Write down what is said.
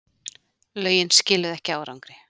Lögin skiluðu ekki árangri